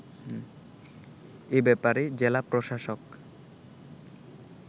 এ ব্যাপারে জেলা প্রশাসক